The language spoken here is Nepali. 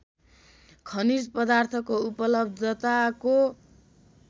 खनिज पदार्थको उपलब्धताको